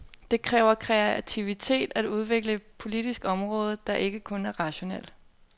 Det kræver kreativitet at udvikle et politisk område, det er ikke kun rationelt.